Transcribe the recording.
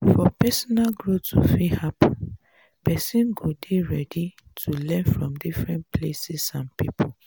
for personal growth to fit happen person go dey ready to learn from different places and pipo